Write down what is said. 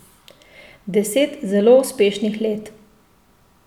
Deset zelo uspešnih let.